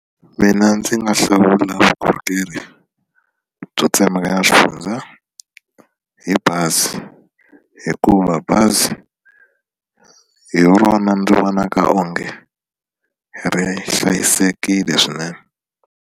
Mina ndzi nga hlawula vukorhokeri byo tsemekanya swifundza hi bazi hikuva bazi hi rona ndzi vonaka onge ri hlayisekile swinene.